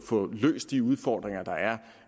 løst de udfordringer der er